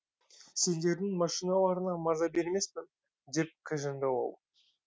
сендердің машиналарына маза бермеспін деп кіжінді ол